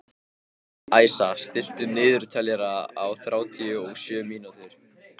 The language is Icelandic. Æsa, stilltu niðurteljara á þrjátíu og sjö mínútur.